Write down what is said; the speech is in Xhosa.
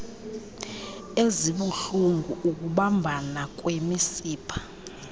ezibuhlulngu ukubambana kwemisipha